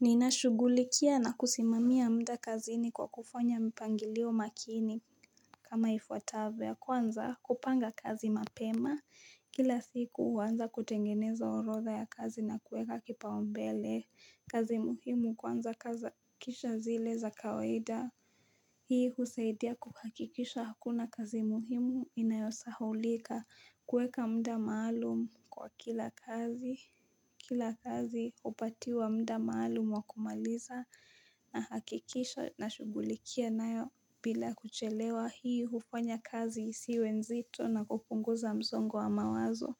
Ninashughulikia na kusimamia mda kazini kwa kufanya mpangilio makini kama ifuatavyo ya kwanza kupanga kazi mapema Kila siku huanza kutengeneza orodha ya kazi na kueka kipaumbele kazi muhimu kwanza kisha zile za kawaida Hii husaidia kuhakikisha hakuna kazi muhimu inayosahaulika kueka mda maalum kwa kila kazi Kila kazi hupatiwa mda maalumu wa kumaliza nahakikisha nashughulikia nayo bila kuchelewa hii hufanya kazi isiwe nzito na kupunguza msongo wa mawazo.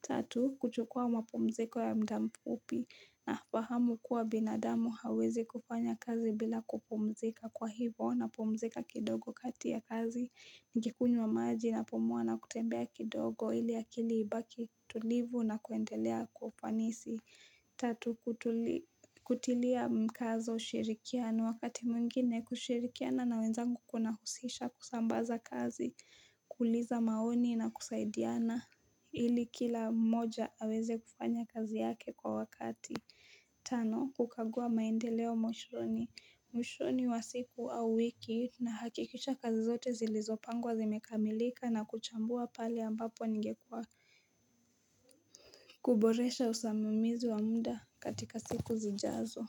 Tatu, kuchukua mapumziko ya mda mfupi nafahamu kuwa binadamu hawezi kufanya kazi bila kupumzika kwa hivo napumzika kidogo kati ya kazi. Nikikunywa maji napumua na kutembea kidogo ili akili ibaki tulivu na kuendelea kwa upanisi. Tatu kutilia mkazo ushirikiano wakati mwengine kushirikiana na wenzangu kunahusisha kusambaza kazi, kuuliza maoni na kusaidiana ili kila mmoja aweze kufanya kazi yake kwa wakati. Tano kukagua maendeleo mwishoni mwishoni wa siku au wiki nahakikisha kazi zote zilizopangwa zimekamilika na kuchambua pali ambapo ningekua kuboresha usamemizi wa muda katika siku zijazo.